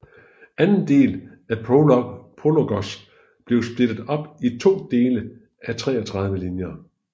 Anden del af PROLOGOS bliver splittet op i to dele af 33 linjer